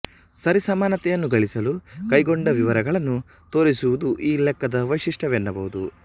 ಸರಿಸಮಾನತೆಯನ್ನು ಗಳಿಸಲು ಕೈಗೊಂಡ ವಿವರಗಳನ್ನು ತೋರಿಸುವುದು ಈ ಲೆಕ್ಕದ ವೈಶಿಷ್ಟ್ಯವೆನ್ನಬಹುದು